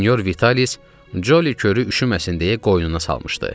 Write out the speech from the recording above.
Sinyor Vitalis Coli körüyü üşüməsin deyə qoynuna salmışdı.